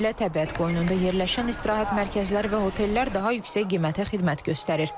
Xüsusilə təbiət qoynunda yerləşən istirahət mərkəzləri və otellər daha yüksək qiymətə xidmət göstərir.